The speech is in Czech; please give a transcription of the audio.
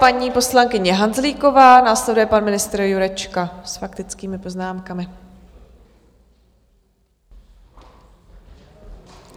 Paní poslankyně Hanzlíková, následuje pan ministr Jurečka, s faktickými poznámkami.